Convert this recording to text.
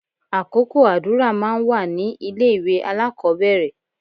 Àkókò àdúrà máa ń wà ní ilé ìwé alákọ̀ọ́bẹ̀rẹ̀